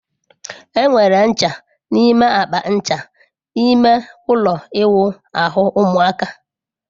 Enwere ncha n'ime akpa ncha ime ụlọ ịwụ ahu ụmụaka.